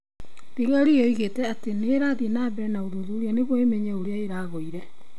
Thigari yoigĩte atĩ nĩ irathiĩ na mbere na ũthuthuria nĩguo ĩmenye ũrĩa ũragũire.